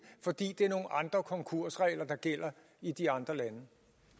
fordi det er nogle andre konkursregler der gælder i de andre lande